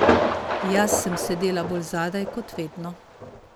Jaz sem sedela bolj zadaj, kot vedno.